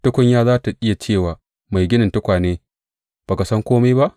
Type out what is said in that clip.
Tukunya za tă iya ce wa mai ginin tukwane, Ba ka san kome ba?